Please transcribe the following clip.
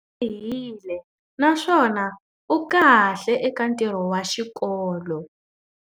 Tlharihile naswona u kahle eka ntirho wa xikolo.